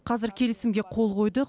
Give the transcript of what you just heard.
қазір келісімге қол қойдық